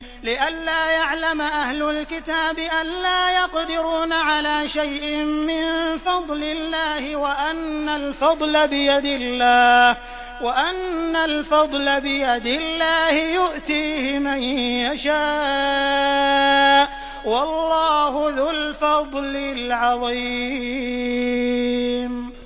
لِّئَلَّا يَعْلَمَ أَهْلُ الْكِتَابِ أَلَّا يَقْدِرُونَ عَلَىٰ شَيْءٍ مِّن فَضْلِ اللَّهِ ۙ وَأَنَّ الْفَضْلَ بِيَدِ اللَّهِ يُؤْتِيهِ مَن يَشَاءُ ۚ وَاللَّهُ ذُو الْفَضْلِ الْعَظِيمِ